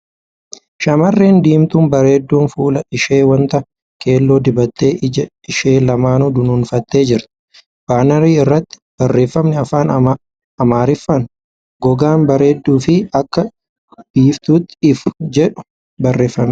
Shamarreen diimtuu bareedduun fuula ishee wanta keelloo dibattee ija ishee lamaanuu dunuunfattee jirti . Baanarii irratti ' barreeffamni afaan Amaariffaan ' Gogaa bareedu fi akka biiftuutti ifu ' jedhu barreeffamee jira.